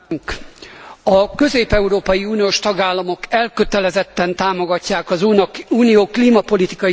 A közép európai uniós tagállamok elkötelezetten támogatják az Unió klímapolitikai céljait.